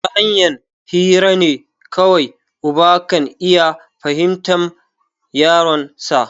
Tahanyan hirane kawai uba kan iya fahimtan yaronsa